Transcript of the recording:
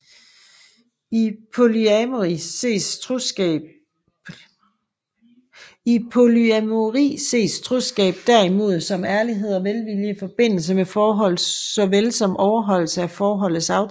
I polyamori ses troskab derimod som ærlighed og velvilje i forbindelse med forholdet såvel som overholdelse af forholdets aftaler